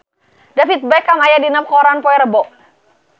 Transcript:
David Beckham aya dina koran poe Rebo